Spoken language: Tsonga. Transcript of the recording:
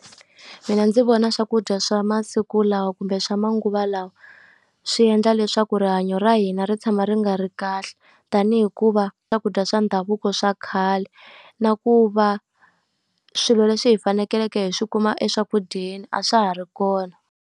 Mina ndzi vona swakudya swa masiku lawa kumbe swa manguva lawa, swi endla leswaku rihanyo ra hina ri tshama ri nga ri kahle. Tanihi ku va swakudya swa ndhavuko swa khale, na ku va swilo leswi hi faneleke hi swi kuma eswakudyeni a swa ha ri kona.